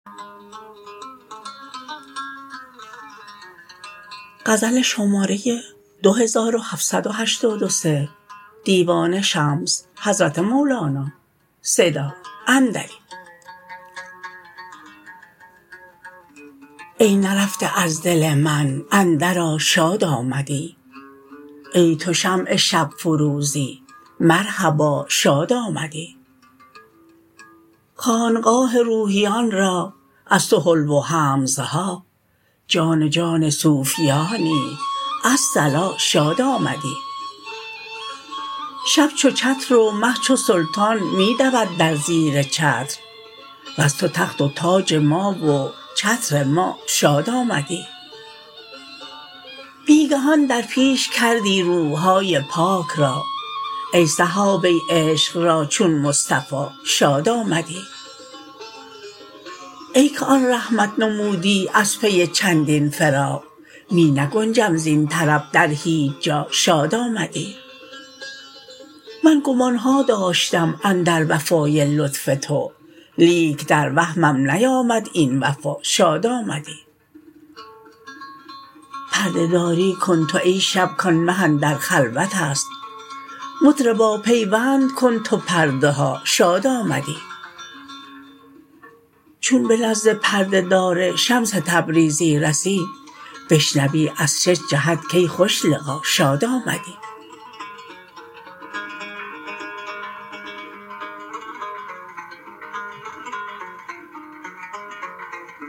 ای نرفته از دل من اندرآ شاد آمدی ای تو شمع شب فروزی مرحبا شاد آمدی خانقاه روحیان را از تو حلو و حمزه ها جان جان صوفیانی الصلا شاد آمدی شب چو چتر و مه چو سلطان می دود در زیر چتر وز تو تخت و تاج ما و چتر ما شاد آمدی بی گهان در پیش کردی روح های پاک را ای صحابه عشق را چون مصطفی شاد آمدی ای که آن رحمت نمودی از پی چندین فراق می نگنجم زین طرب در هیچ جا شاد آمدی من گمان ها داشتم اندر وفای لطف تو لیک در وهمم نیامد این وفا شاد آمدی پرده داری کن تو ای شب کان مه اندر خلوت است مطربا پیوند کن تو پرده ها شاد آمدی چون به نزد پرده دار شمس تبریزی رسی بشنوی از شش جهت کای خوش لقا شاد آمدی